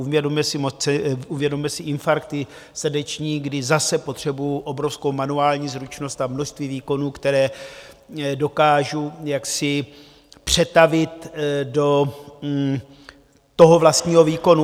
Uvědomme si infarkty srdeční, kdy zase potřebuji obrovskou manuální zručnost a množství výkonů, které dokážu přetavit do toho vlastního výkonu.